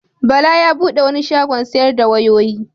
Bala ya bude wani shagon sayar da wayoyi.